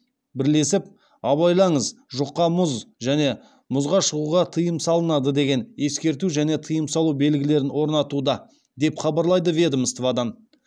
бірлесіп абайлаңыз жұқа мұз және мұзға шығуға тыйым салынады деген ескерту және тыйым салу белгілерін орнатуда деп хабарлады ведомстводан